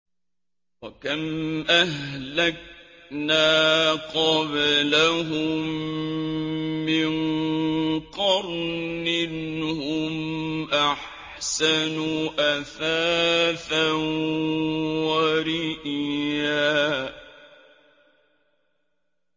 وَكَمْ أَهْلَكْنَا قَبْلَهُم مِّن قَرْنٍ هُمْ أَحْسَنُ أَثَاثًا وَرِئْيًا